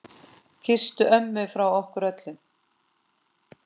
Kysstu ömmu frá okkur öllum.